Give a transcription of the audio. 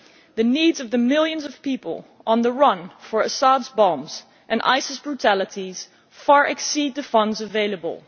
The needs of the millions of people on the run from Assad's bombs and ISIS brutalities far exceed the funds available.